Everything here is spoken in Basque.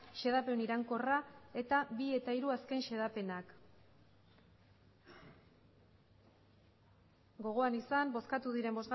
xedapen iraunkorra eta bi eta hiru azken xedapenak gogoan izan bozkatu diren